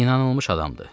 İnanılmış adamdır.